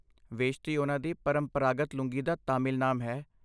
ਵੇਸ਼ਤੀ ਉਹਨਾਂ ਦੀ ਪਰੰਪਰਾਗਤ ਲੂੰਗੀ ਦਾ ਤਾਮਿਲ ਨਾਮ ਹੈ।